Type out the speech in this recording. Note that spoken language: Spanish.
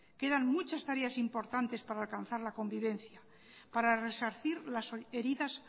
quedan muchas tareas importantes para alcanzar la convivencia para resarcir las heridas